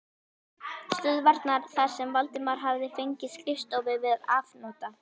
stöðvarinnar þar sem Valdimar hafði fengið skrifstofu til afnota.